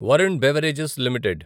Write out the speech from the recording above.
Varun beverages limited